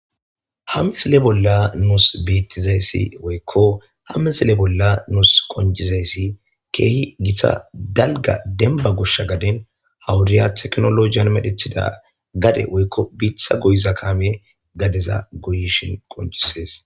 Ha misile bolla nuus beettizayssi woykko ha misile bolla nuus konjizayssi keehi githa dalga denba goshsha gaden hawuriya teknolojiyan medhethida gade woykko biitha goyiza kaame gadeza goyishin konjisees